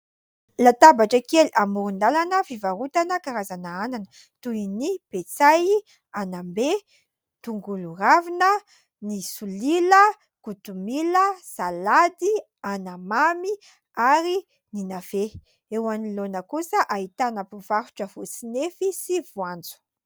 Latabatra kely amoron-dalana fivarotana karazana anana toy ny petsay, anambe, tongolo ravina, ny solila, kotomila, salady, anamamy ary ny "navet". Eo anoloana kosa ahitana mpivarotra voatsinefy sy voanjo.